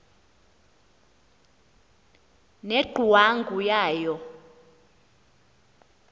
ne ngcwangu yayo